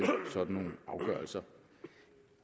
sådan nogle afgørelser